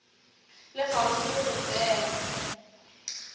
le kgauswi le go fela